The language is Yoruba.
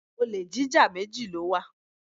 Olè jíjá méjì ni ó wà.